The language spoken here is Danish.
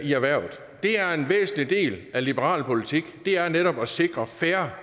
erhvervet det er en væsentlig del af liberal politik netop at sikre fair